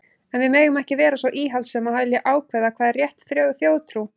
En við megum ekki vera svo íhaldssöm að vilja ákveða hvað er rétt þjóðtrú.